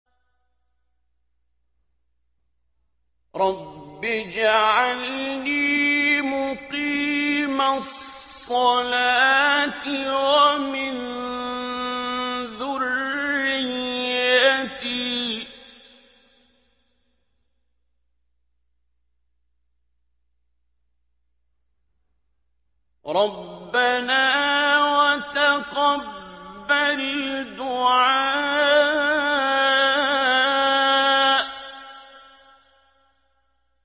رَبِّ اجْعَلْنِي مُقِيمَ الصَّلَاةِ وَمِن ذُرِّيَّتِي ۚ رَبَّنَا وَتَقَبَّلْ دُعَاءِ